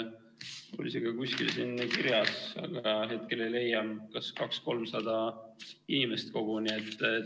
Mul oli see ka kuskil siin kirjas, aga hetkel ei leia, kas 200–300 inimest koguni.